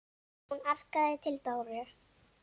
Hún arkaði til Dóru.